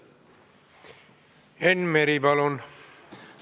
Enn Meri, palun!